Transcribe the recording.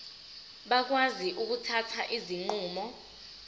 bakwazi ukuthatha izinqumo